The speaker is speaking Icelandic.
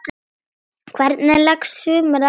Hvernig leggst sumarið í þig?